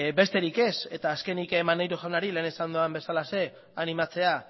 besterik ez eta azkenik maneiro jaunari lehen esan dudan bezalaxe animatzea